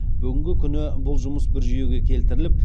бүгінгі күні бұл жұмыс бір жүйеге келтіріліп